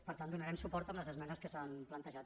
per tant hi donarem suport amb les esmenes que s’han plantejat